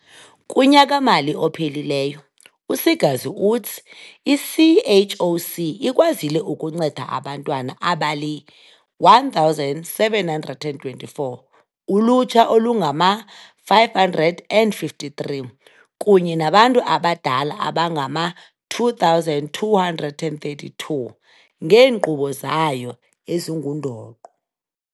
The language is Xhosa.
Kunyaka-mali ophelileyo, u-Seegers uthi i-CHOC ikwazile ukunceda abantwana abali-1 724, ulutsha olungama-553 kunye nabantu abadala abangama-2 232 ngeenkqubo zayo ezingundoqo.